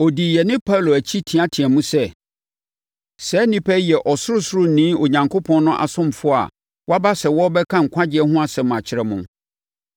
Ɔdii yɛne Paulo akyi teateaam sɛ, “Saa nnipa yi yɛ Ɔsorosoroni Onyankopɔn no asomfoɔ a wɔaba sɛ wɔrebɛka nkwagyeɛ ho asɛm akyerɛ mo.”